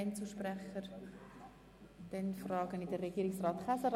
Ich erteile das Wort Regierungsrat Käser.